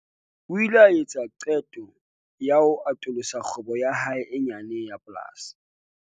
O ile a etsa qeto ya ho atolosa kgwebo ya hae e nyane ya polasi.